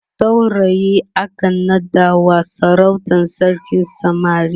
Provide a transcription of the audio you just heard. saurayi akan naɗawa sarautar sarkin samari